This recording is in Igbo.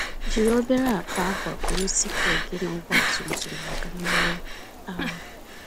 Jiri obere akpa akwa buru sikụl gị na ọgba tum tum màkà mmerụ ahụ.